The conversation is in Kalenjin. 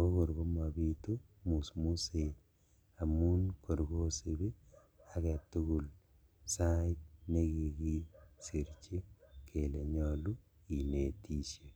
okor komobitu musmuset amun kor kosibi aketugul sait nekikisirji kele nyolu inetishe.